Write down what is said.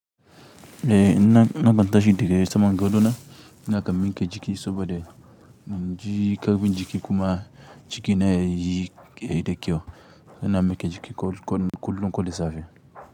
Eh na kan tashi daga saman gado na, na kan mi ke jiki saboda in ji ƙarfin jiki kuma jiki na yiyi kaida kyau, yana min ke jiki kullum kole safe.